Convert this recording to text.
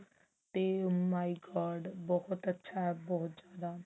ਤੇ my god ਬਹੁਤ ਅੱਛਾ ਬਹੁਤ ਜਿਆਦਾ